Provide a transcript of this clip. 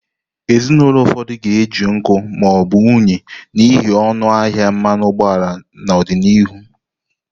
Ezinụlọ ụfọdụ ga-eji nkụ ma ọ bụ unyi n'ihi ọnụ ahịa mmanụ ụgbọala n'ọdịnihu.